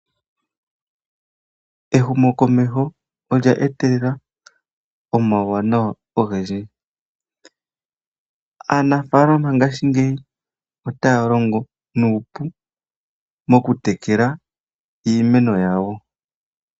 Ehumokomesho olya etelela omauwanawa ogendji, aanafaalama ngaashingeyi otaya longo nuupu moku tekela iimeno yawo.